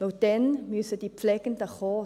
Denn dann müssen die Pflegenden kommen.